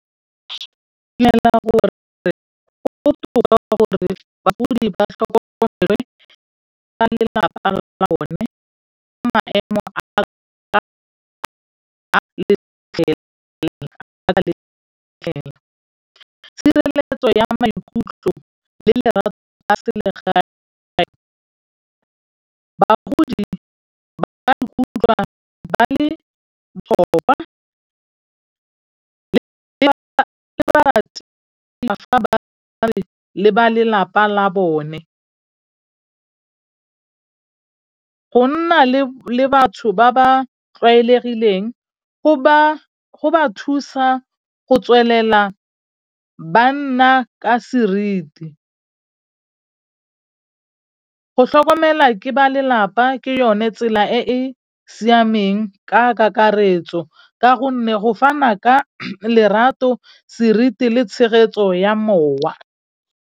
Ba lelapa la bone. Go nna le batho ba ba tlwaelegileng go ba thusa go tswelela banna ka seriti. Go tlhokomelwa ke ba lelapa ke yone tsela e e siameng ka kakaretso ka gonne go fana ka lerato, seriti le tshegetso ya mowa.